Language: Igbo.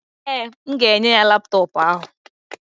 Ee, m ga-enye ya laptọọpụ ahụ.